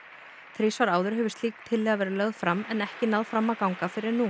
þrisvar áður hefur slík tillaga verið lögð fram en ekki náð fram að ganga fyrr en nú